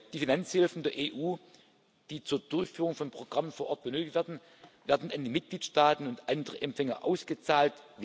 Die Finanzhilfen der EU, die zur Durchführung von Programmen vor Ort benötigt werden, werden an die Mitgliedstaaten und andere Empfänger ausgezahlt.